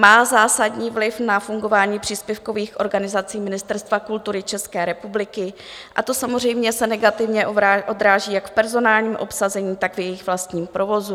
Má zásadní vliv na fungování příspěvkových organizací Ministerstva kultury České republiky a to samozřejmě se negativně odráží jak v personálním obsazení, tak v jejich vlastním provozu.